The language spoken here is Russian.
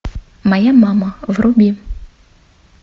моя мама вруби